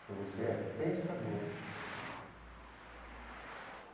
Falou, você é pensador do samba.